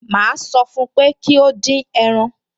Màá sọ fún pé kí ó dín ẹran